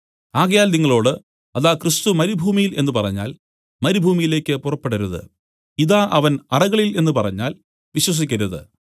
ആകയാൽ നിങ്ങളോടു അതാ ക്രിസ്തു മരുഭൂമിയിൽ എന്നു പറഞ്ഞാൽ മരുഭൂമിയിലേക്ക് പുറപ്പെടരുത് ഇതാ അവൻ അറകളിൽ എന്നു പറഞ്ഞാൽ വിശ്വസിക്കരുത്